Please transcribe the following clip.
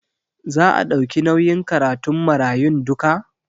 Za a ɗauki nauyin karatun marayun duka?